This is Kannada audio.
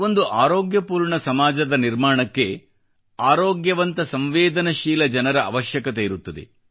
ಒಂದು ಆರೋಗ್ಯಪೂರ್ಣ ಸಮಾಜ ನಿರ್ಮಾಣಕ್ಕೆ ಆರೋಗ್ಯವಂತ ಸಂವೇದನಶೀಲ ಜನರ ಅವಶ್ಯಕತೆಯಿರುತ್ತದೆ